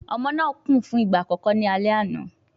Ọmọ náà kùn fún ìgbà àkọ́kọ́ ní alẹ́ àná